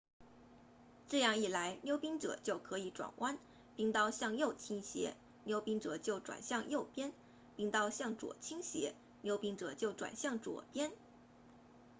这样一来溜冰者就可以转弯冰刀向右倾斜溜冰者就转向右边冰刀向左倾斜溜冰者就转向左边